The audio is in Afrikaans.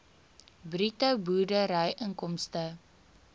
bruto boerdery inkomste